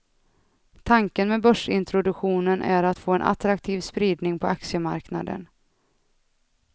Tanken med börsintroduktionen är att få en attraktiv spridning på aktiemarknaden.